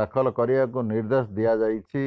ଦାଖଲ କରିବାକୁ ନିଦେ୍ର୍ଦଶ ଦିଆଯାଇଛି